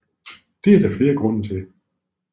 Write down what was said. Det er der flere grunde til